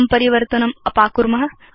इदं परिवर्तनम् अपाकुर्म